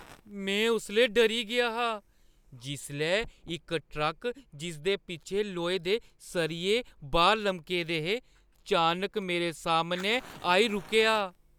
में उसलै डरी गेआ हा जिसलै इक ट्रक जिसदे पिच्छें लोहे दे सरियें बाह्‌र लमके दे हे, अचानक मेरे सामनै आई रुकेआ।